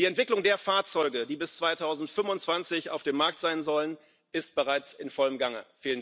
Die Entwicklung der Fahrzeuge, die bis 2025 auf dem Markt sein sollen, ist bereits in vollem Gange.